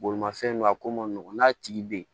Bolimafɛn don a ko ma nɔgɔn n'a tigi bɛ yen